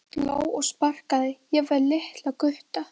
Sló og sparkaði, jafnvel litla gutta.